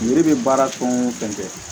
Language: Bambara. Yiri bɛ baara fɛn o fɛn kɛ